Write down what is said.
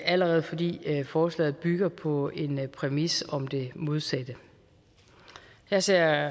allerede fordi forslaget bygger på en præmis om det modsatte jeg ser